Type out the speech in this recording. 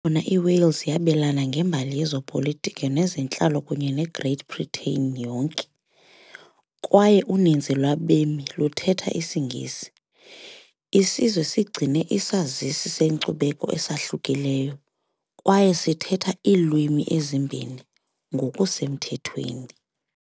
na iWales yabelana ngembali yezopolitiko nezentlalo kunye neGreat Britain yonke, kwaye uninzi lwabemi luthetha isiNgesi, isizwe sigcine isazisi senkcubeko esahlukileyo, kwaye sithetha iilwimi ezimbini ngokusemthethweni.